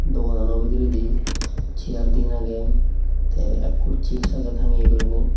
doganano bidiredi chair diyen agey te ekkur chips agey tangeye gurinei.